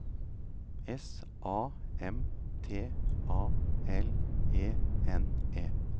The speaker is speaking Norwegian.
S A M T A L E N E